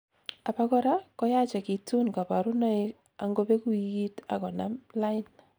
abakora koyachekitun kaborunoik angobeku wikiit ak konam lain